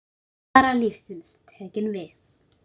Alvara lífsins tekin við.